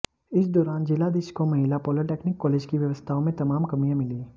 इस दौरान जिलाधीश को महिला पॉलीटेक्निक कॉलेज की व्यवस्थाओं में तमाम कमियां मिलीं